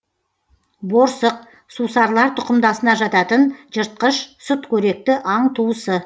борсық сусарлар тұқымдасына жататын жыртқыш сүтқоректі аң туысы